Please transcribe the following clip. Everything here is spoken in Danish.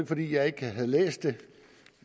fordi jeg ikke har læst det